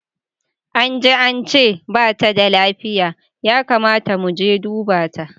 Anji ance bata da lafiya, ya kamata muje mu duba ta.